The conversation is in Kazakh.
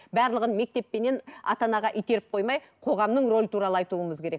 барлығын мектеп пенен ата анаға итеріп қоймай қоғамның рөлі туралы айтуымыз керек